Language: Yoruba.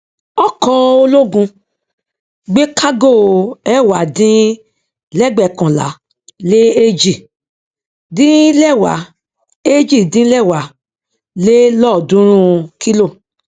ọkọ ológun gbé kágò ẹwà dín lẹgbẹkànlá lé èjì dín lẹwà èjì dín lẹwà lé lọọdúnrún kílò